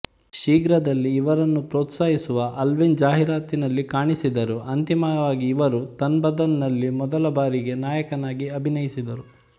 ಶೀಘ್ರದಲ್ಲೆ ಇವರನ್ನು ಪ್ರೋತ್ಸಾಹಿಸುವವ ಅಲ್ವಿನ್ ಜಾಹಿರಾತಿನಲ್ಲಿ ಕಾಣಿಸಿದರು ಅಂತಿಮವಾಗಿ ಇವರು ತನ್ ಬದನ್ ನಲ್ಲಿ ಮೊದಲ ಬಾರಿಗೆ ನಾಯಕನಾಗಿ ಅಭಿನಯಿಸಿದರು